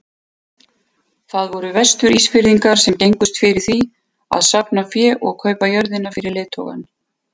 Það voru Vestur-Ísfirðingar sem gengust fyrir því að safna fé og kaupa jörðina fyrir leiðtogann.